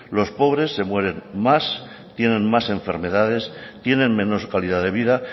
los pobres se mueren más tienen más enfermedades tienen menos calidad de vida